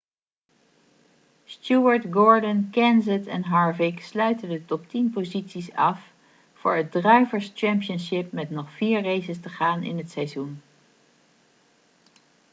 stewart gordon kenseth en harvick sluiten de top-tien posities af voor het drivers' championship met nog vier races te gaan in het seizoen